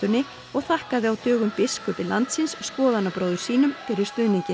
og þakkaði á dögunum biskupi landsins skoðanabróður sínum fyrir stuðninginn